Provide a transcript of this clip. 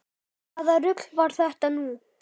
Hvaða rugl var þetta nú?